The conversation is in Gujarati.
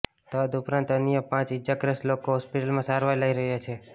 તદઉપરાંત અન્ય પાંચ ઇજાગ્રસ્ત લોકો હોસ્પિટલમાં સારવાર લઇ રહ્યાં છે